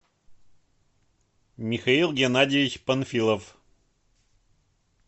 михаил геннадьевич панфилов